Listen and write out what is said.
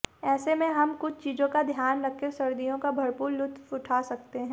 ऐसे में हम कुछ चीज़ों का ध्यान रखकर सर्दियों का भरपूर लुत्फ़ उठा सकते हैं